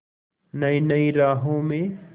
नई नई राहों में